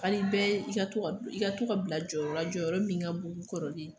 Ka di bɛɛ i ka to ka bila jɔyɔrɔ la jɔyɔrɔ min ka bon ni kɔrɔlen ye